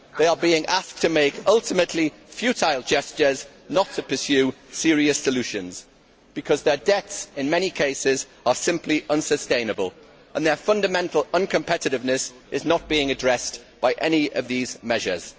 They are being asked to make ultimately futile gestures, and not to pursue serious solutions, because their debts in many cases are simply unsustainable and their fundamental uncompetitiveness is not being addressed by any of these measures.